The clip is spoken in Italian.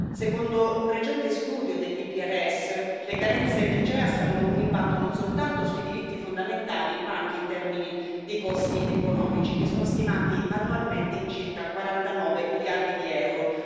Secondo un recente studio dell'EPRS, le carenze del CEAS hanno un impatto non soltanto sui diritti fondamentali, ma anche in termini di costi economici, che sono stimati annualmente in circa 49 miliardi di euro.